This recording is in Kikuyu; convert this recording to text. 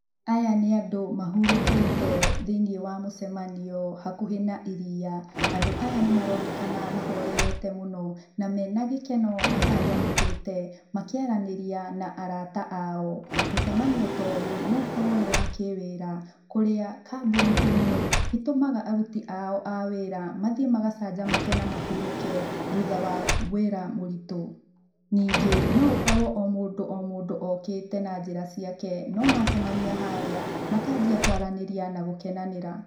Aya nĩ andũ mahurokete thĩĩni wa mũcemanio hakuhe na ĩrĩa, andũ aya nĩ maronekana mahorerete mũno na mena gĩkeno macanjamũkite mũno makĩaranĩria na arata ao. Mũcemanio ta ũyũ no ũkorwo nĩ wa kĩwĩ ra kũria kambũni ĩmwe ĩtumaga arũti ao a wĩra mathĩe magacanjamũke na mahũruke thutha wa wira mũritu. Nĩngi no gũkorwo o mũndũ o mũndũ okĩte na njĩra cĩake no macemanĩa harĩ ,makajĩa kũaranĩria na gũkenanira.